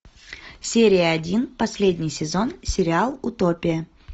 серия один последний сезон сериал утопия